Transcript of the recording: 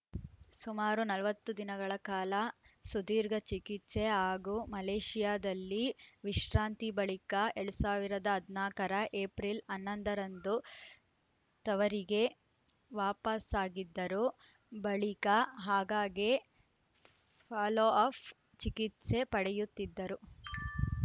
ಸುಮಾರು ನಲವತ್ತು ದಿನಗಳ ಕಾಲ ಸುದೀರ್ಘ ಚಿಕಿತ್ಸೆ ಹಾಗೂ ಮಲೇಷಿಯಾದಲ್ಲಿ ವಿಶ್ರಾಂತಿ ಬಳಿಕ ಎರಡ್ ಸಾವಿರದ ಹದಿನಾಕ ರ ಏಪ್ರಿಲ್‌ ಹನ್ನೊಂದ ರಂದು ತವರಿಗೆ ವಾಪಸಾಗಿದ್ದರು ಬಳಿಕ ಆಗಾಗ್ಗೆ ಫಾಲೋಅಪ್‌ ಚಿಕಿತ್ಸೆ ಪಡೆಯುತ್ತಿದ್ದರು